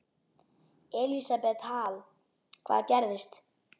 Elísabet Hall: Hvað gerðist?